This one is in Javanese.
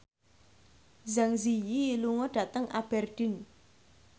Zang Zi Yi lunga dhateng Aberdeen